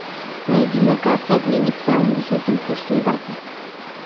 найди на карте обменник с самым высоким курсом бата